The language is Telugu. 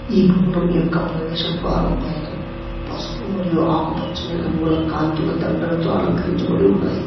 ఈ భవనం యొక్క ప్రవేశ ద్వారం పైన పసుపు మరియు ఆకుపచ్చని రంగుల కాంతుల దండలతో అలంకరించబడి ఉన్నాయి.